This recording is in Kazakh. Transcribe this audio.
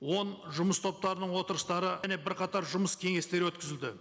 он жұмыс топтарының отырыстары бірқатар жүмыс кеңестері өткізілді